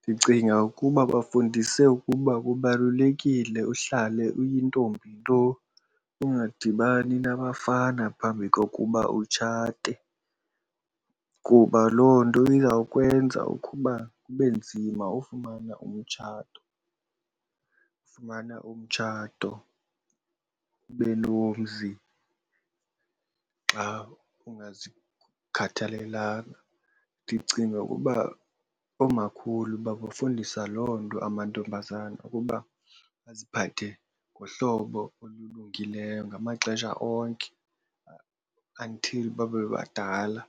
Ndicinga ukuba bafundise ukuba kubalulekile uhlale uyintombi nto ungadibani nabafana phambi kokuba utshate kuba loo nto izawukwenza ukuba kube nzima ufumana umtshato, ufumana umtshato ube nomzi xa ukungazikhathalelanga. Ndicinga ukuba oomakhulu bakufundisa loo nto amantombazana ukuba baziphathe ngohlobo olulungileyo ngamaxesha onke until babe badala